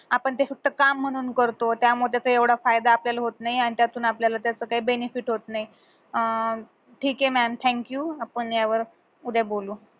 आपण ते फक्त काम म्हणून करतो त्यामुळे त्याचा एवढा फायदा आपल्याला होत नाई आणि त्यातून आपल्याला त्याच काही benefit होत नाई अह ठिके mam thank you आपण या वर उद्या बोलू